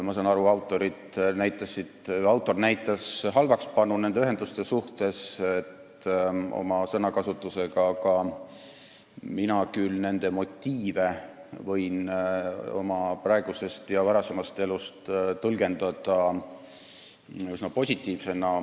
Ma saan aru, et autor näitas nende ühenduste suhtes halvakspanu oma sõnakasutusega, aga mina võin küll nende motiive oma praeguse ja varasema elu põhjal üsna positiivsena tõlgendada.